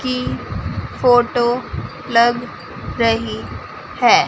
की फोटो लग रही हैं।